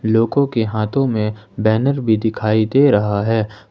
लोगों के हाथों में बैनर भी दिखाई दे रहा है।